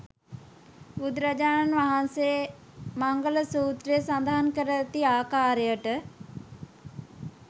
බුදුරජාණන් වහන්සේ මංගල සූත්‍රයේ සඳහන් කර ඇති ආකාරයට